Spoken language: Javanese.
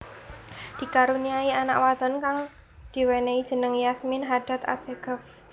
Dikaruniai anak wadon kang diwenehi jeneng Yasmin Hadad Assegaf